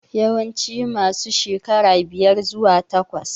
Yawanci masu shekara biyar zuwa takwas